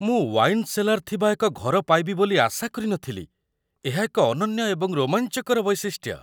ମୁଁ wine cellar ଥିବା ଏକ ଘର ପାଇବି ବୋଲି ଆଶା କରିନଥିଲି ଏହା ଏକ ଅନନ୍ୟ ଏବଂ ରୋମାଞ୍ଚକର ବୈଶିଷ୍ଟ୍ୟ।